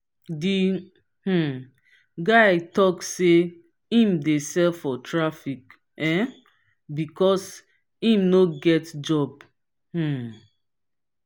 the um guy tok sey im dey sell for traffic um because im no get job. um